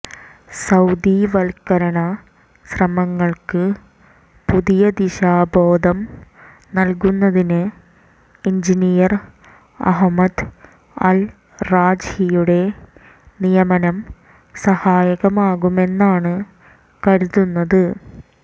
സൌദിവൽക്കരണ ശ്രമങ്ങൾക്ക് പുതിയ ദിശാബോധം നൽകുന്നതിന് എൻജിനീയർ അഹ്മദ് അൽറാജ്ഹിയുടെ നിയമനം സഹായകമാകുമെന്നാണ് കരുതുന്നത്